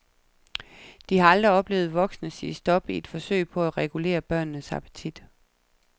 De har aldrig oplevet voksne sige stop i et forsøg på at regulere børnenes appetit.